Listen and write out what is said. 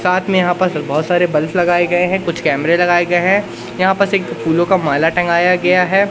साथ में यहां पर बहोत सारे बल्ब लगाए गए हैं कुछ कैमरे लगाए गए हैं यहां बस एक फूलों का माला टंगाया गया है।